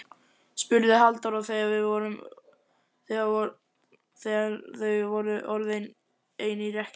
spurði Halldóra þegar þau voru orðin ein í rekkju.